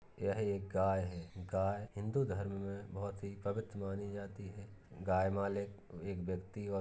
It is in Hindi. यह एक गाय है गाय हिन्दू धर्म मे बहुत ही पवित्र मानी जाती है। गाय मालिक एक व्यक्ति और --